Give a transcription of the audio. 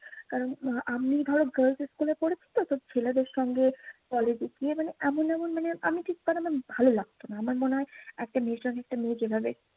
কারণ, আমি ধরো girls school এ পড়েছি তো। তো ছেলেদের সঙ্গে college এ গিয়ে মানে এমন এমন মানে আমি ঠিক মানে না ভালো লাগতো না। আমার মনে হয় একটা মেয়ের সাথে একটা মেয়ে যেভাবে